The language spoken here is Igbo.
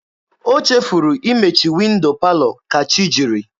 O chefuru imechi windo palọ ka chi jiri.